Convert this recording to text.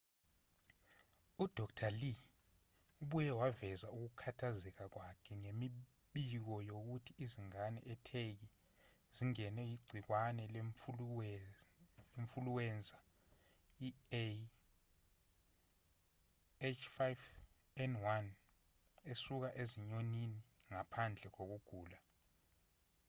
udkt. lee ubuye waveza ukukhathazeka kwakhe ngemibiko yokuthi izingane etheki zingenwe yigciwane lemfuluwenza ah5n1 esuka ezinyonini ngaphandle kokugula